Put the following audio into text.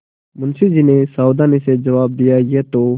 मुंशी जी ने सावधानी से जवाब दियायह तो